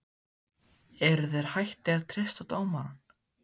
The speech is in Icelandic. Eruð þeir hættir að treysta á dómarann?